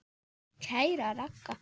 Kæra Ragga.